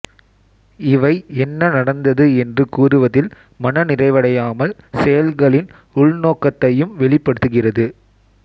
இவை என்ன நடந்தது என்று கூறுவதில் மன நிறைவடையாமல் செயல்களின் உள்நோக்கத்தையும் வெளிப்படுத்துகிறது